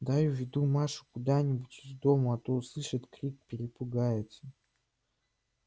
дай уведу машу куда-нибудь из дому а то услышит крик перепугается